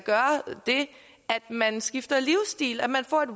man skifter livsstil at man får et